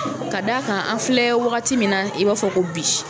Ka d' a kan an filɛ wagati min na i b'a fɔ ko bi